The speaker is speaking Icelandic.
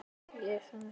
Var aðeins gjöf.